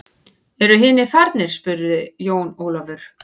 Eru hinir farnir spurði Jón Ólafur.